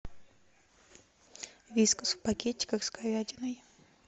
виска в пакетиках с говядиной